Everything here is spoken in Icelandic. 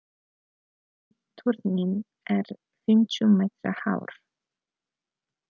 Turninn er fimmtíu metra hár.